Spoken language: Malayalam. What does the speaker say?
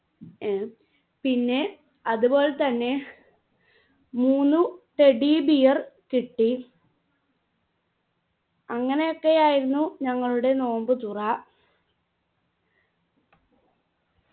ഏർ പിന്നെ അതുപോലെ തന്നെ മൂന്നു teddybear കിട്ടി അങ്ങനെയൊക്കെയായിരുന്നു നിങ്ങളുടെ നോമ്പ് തുറ